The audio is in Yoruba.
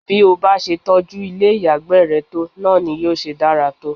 Bí o bá se tọjú ilé ìyàgbẹ́ re tó, náà ni yóò ṣe dára tó.